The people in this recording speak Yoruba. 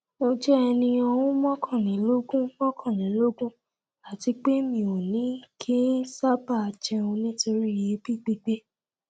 mo jẹ́ ẹni ọdún mọ́kànlélógún mọkànlélógún àti pé mi ò ki ń sáábà jẹun nítorí èébì gbígbé